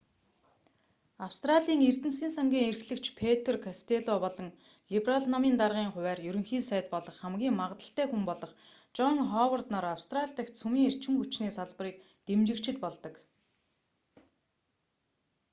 австралийн эрдэнэсийн сангийн эрхлэгч петр костелло болон либерал намын даргын хувиар ерөнхий сайд болох хамгийн магадлалтай хүн болох жон ховард нар австрали дахь цөмийн эрчим хүчний салбарыг дэмжигчид болдог